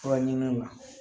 Fura ɲini na